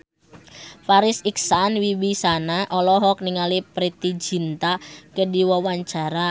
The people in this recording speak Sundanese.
Farri Icksan Wibisana olohok ningali Preity Zinta keur diwawancara